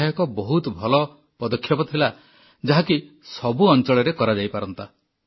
ଏହା ଏକ ବହୁତ ଭଲ ପଦକ୍ଷେପ ଥିଲା ଯାହାକି ସବୁ ଅଂଚଳରେ କରାଯାଇପାରନ୍ତା